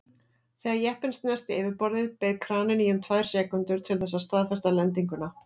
Þegar jeppinn snerti yfirborðið beið kraninn í um tvær sekúndur til þess að staðfesta lendinguna.